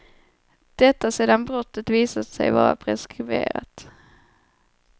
Detta sedan brottet visat sig vara preskriberat.